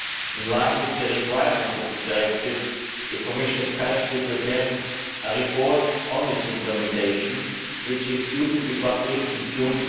In line with the requirements of the directive, the Commission is currently preparing a report on its implementation which is due to be published in June